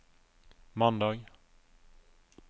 mandag